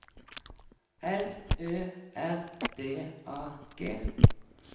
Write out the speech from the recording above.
L Ø R D A G